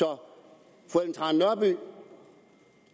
om det